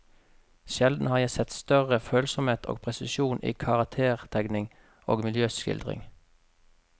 Sjelden har jeg sett større følsomhet og presisjon i karaktertegning og miljøskildring.